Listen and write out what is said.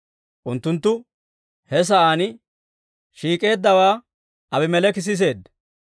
Unttunttu he sa'aan shiik'eeddaawaa Aabimeleeki siseedda.